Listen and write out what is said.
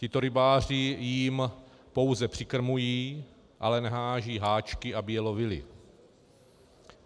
Tito rybáři jim pouze přikrmují, ale neházejí háčky, aby je lovili.